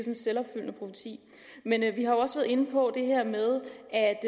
en selvopfyldende profeti men vi har også været inde på det her med